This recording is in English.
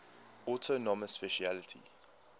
autonomous specialty